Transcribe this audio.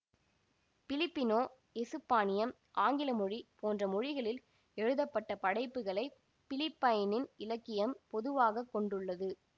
Filipino எசுப்பானியம் ஆங்கில மொழி போன்ற மொழிகளில் எழுதப்பட்ட படைப்புக்களைப் பிலிப்பைனின் இலக்கியம் பொதுவாக கொண்டுள்ளது